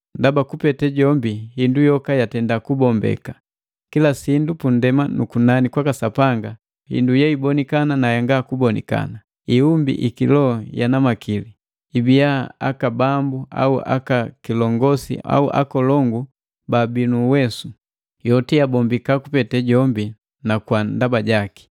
Ndaba kupete jombi hindu yoka yatenda kubombeka, kila sindu pundema nu kunani kwaka Sapanga, hindu yeibonikana na yanga kubonikana. Iumbi i kiloho yana makili ibia aka bambu au aka kilongosi au aka akolongu baabi nu uwesu. Yoti yabombika kupete jombi na kwa ndaba jaki.